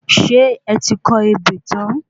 Ṣé ẹ ti kọ ebè tan?